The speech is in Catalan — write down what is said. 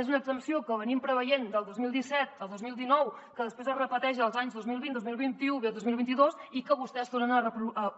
és una exempció que hem previst del dos mil disset al dos mil dinou que després es repeteix els anys dos mil vint dos mil vint u dos mil vint dos i que vostès tornen a